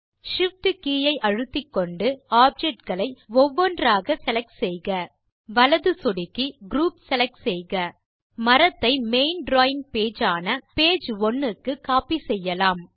Shift key ஐ அழுத்திக்கொண்டு object களை ஒவ்வொன்றாக செலக்ட் செய்க வலது சொடுக்கி குரூப் செலக்ட் செய்க மரத்தை மெயின் டிராவிங் பேஜ் ஆன பேஜ் ஒனே க்கு கோப்பி செய்யலாம்